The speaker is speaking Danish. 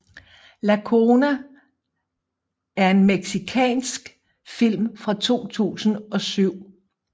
La Zona er en mexicansk film fra 2007